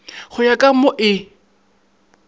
go ya ka mo e